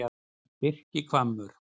Birkihvammur